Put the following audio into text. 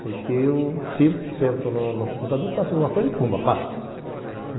Porque eu sento no computador, faço alguma coisa e pumba, passo.